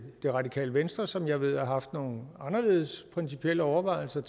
det radikale venstre som jeg ved har haft nogle anderledes principielle overvejelser